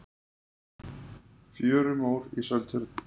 fjörumór í seltjörn